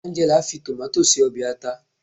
Angela fi tomato se obe ata